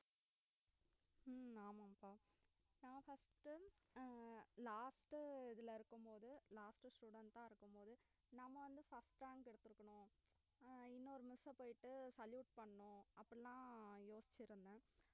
உம் ஆமா பா நான் first உ அஹ் last உ இதுல இருக்கும் போது last student அ இருக்கும்போது நம்ம வந்து first rank எடுத்துருக்கணும் அஹ் இன்னொரு miss ஆ போயிட்டு salute பண்ணனும் அப்படிலாம் யோசிச்சுருந்தேன்